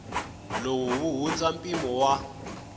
lowu wu hundza mpimo wa